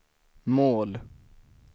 mål